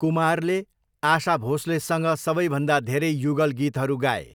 कुमारले आशा भोस्लेसँग सबैभन्दा धेरै युगल गीतहरू गाए।